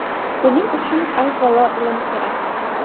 Buning uchun avvalo ilm kerak.